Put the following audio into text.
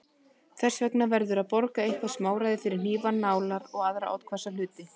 Þess vegna verður að borga eitthvert smáræði fyrir hnífa, nálar og aðra oddhvassa hluti.